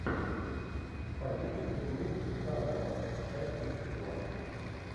побег из тюрьмы даннемора часть тридцать два